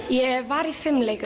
ég var í fimleikum